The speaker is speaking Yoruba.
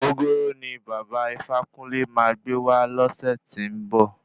Ògógóró ní bàba Ifákúnle máa gbé wá lọsẹ tí ń ba.